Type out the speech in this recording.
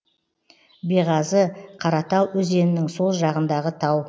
беғазы қаратал өзенінің сол жағындағы тау